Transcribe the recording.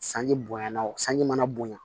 Sanji bonya na o sanji mana bonya